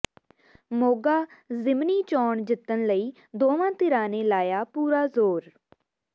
ਮੋਗਾ ਜ਼ਿਮਨੀ ਚੋਣ ਜਿੱਤਣ ਲਈ ਦੋਵਾਂ ਧਿਰਾਂ ਨੇ ਲਾਇਆ ਪੂਰਾ ਜ਼ੋਰ